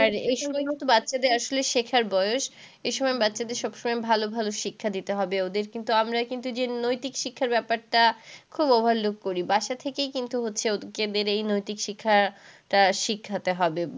আর এসময় তো বাচ্চাদের আসলে শেখার বয়েস। এসময় বাচ্চাদের সবসময় ভালো ভালো শিক্ষা দিতে হবে ওদের। কিন্তু আমরা কিন্তু যে নৈতিক শিক্ষার ব্যাপারটা খুব overloop করি। বাসা থেকেই কিন্তু হচ্ছে ওদের এই নৈতিক শিক্ষাটা শেখাতে হবে।